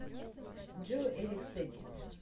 джой эрик сэти